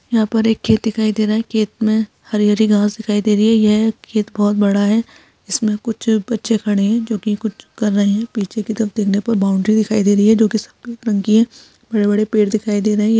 यहां पर एक खेत दिखाई दे रहा है खेत में हरी हरी घास दिखाई दे रही है यह खेत बहुत बड़ा है इसमें कुछ बच्चे खड़े हैं जो कि कुछ कर रहे हैं पीछे की तरफ देखने पर बाउंड्री दिखाई दे रही है जो की सफेद रंग की है बड़े-बड़े पेड़ दिखाई दे रहे हैं।